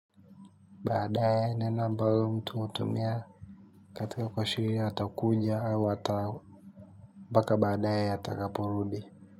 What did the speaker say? Baadae nena ambalo mtu hutumia katika kuashiri atakuja au ata mpaka baadae atakaporudi.